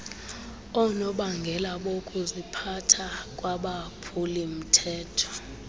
oonobangela bokuziphatha kwabaphulimthetho